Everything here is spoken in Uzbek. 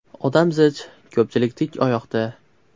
Odam zich, ko‘pchilik tik oyoqda.